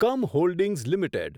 come holdings limited